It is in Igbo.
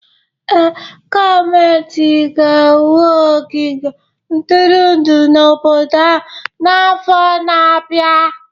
Ee, gọọmentị ga-ewu ogige ntụrụndụ n'obodo ahụ n'afọ na-abịa